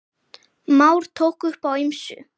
Már tók upp á ýmsu.